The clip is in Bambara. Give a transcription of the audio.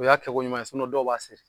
O y'a kɛko ɲuman ye dɔw b'a seri